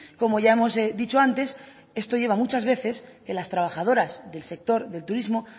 como ya hemos dicho antes esto lleva muchas veces que a las trabajadoras del sector del turismo